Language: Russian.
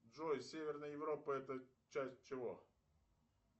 джой северная европа это часть чего